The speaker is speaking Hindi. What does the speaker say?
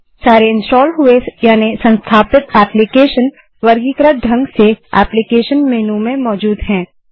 सारे इन्स्टाल हुए यानि संस्थापित एप्लीकेशंस वर्गीकृत ढंग से एप्लीकेशन मेन्यू में मौजूद हैं